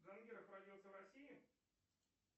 джангиров родился в россии